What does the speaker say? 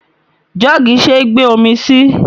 Jọ́ọ̀gì ṣé gbe omi sí.